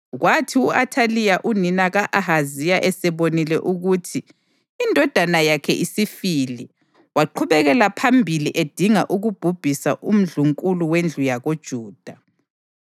Kwathi u-Athaliya unina ka-Ahaziya esebonile ukuthi indodana yakhe isifile, waqhubekela phambili edinga ukubhubhisa umndlunkulu wendlu yakoJuda.